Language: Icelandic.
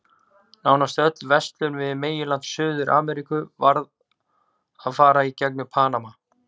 Nánast öll verslun við meginland Suður-Ameríku varð að fara í gegnum Panama.